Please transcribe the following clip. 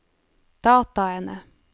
dataene